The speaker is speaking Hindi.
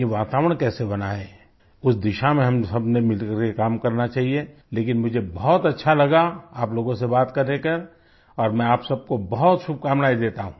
ये वातावरण कैसे बनाएं उस दिशा में हम सबने मिल करके काम करना चाहिए लेकिन मुझे बहुत अच्छा लगा आप लोगों से बात करके और मैं आप सब को बहुत शुभकामनाएं देता हूँ